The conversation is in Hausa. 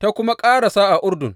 ta kuma ƙarasa a Urdun.